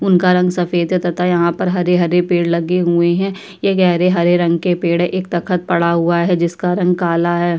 उनका रंग सफेद तथा यहाँ पर हरे-हरे पेड़ लगे हुए हैं। यह गहरे हरे रंग के पेड़ है। एक तख्त पड़ा हुआ है। जिसका रंग काला है।